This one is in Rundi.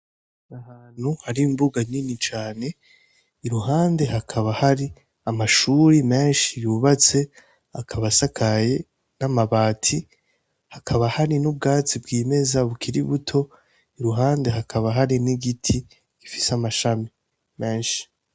Ahantu hari imbuga nyini cane iruhande hakaba hari amashuri menshi yyubatse akabasakaye n'amabati hakaba hari n'ubwatsi bw'imeza bukirai buto iruhande hakaba hari n'igiti gifise amashami menshi.